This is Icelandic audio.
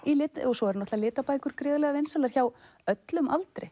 svo eru náttúrulega litabækur gríðarlega vinsælar hjá öllum aldri